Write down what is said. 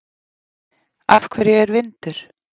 Af hverju er vindur?